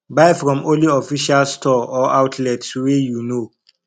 buy from only official store or outlets wey you know